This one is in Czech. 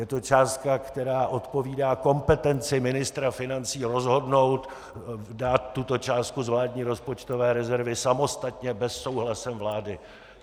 Je to částka, která odpovídá kompetenci ministra financí rozhodnout, dát tuto částku z vládní rozpočtové rezervy samostatně bez souhlasu vlády.